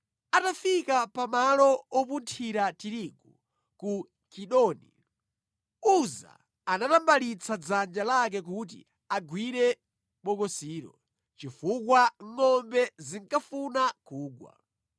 Atafika pa malo opunthira tirigu ku Kidoni, Uza anatambalitsa dzanja lake kuti agwire bokosilo, chifukwa ngʼombe zinkafuna kugwa.